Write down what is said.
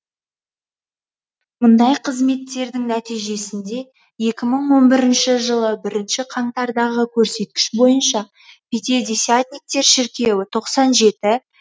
мұндай қызметтердің нәтижесінде екі мың он бірінші жылы бірінші қаңтардағы көрсеткіш бойынша пятидесятниктер шіркеуі тоқсан жеті